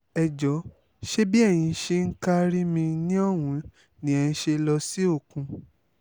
ẹ jọ̀ọ́ ṣe bí eyín ń ṣe ká rí mi ní òun ni ẹ ṣe lọ sí òkun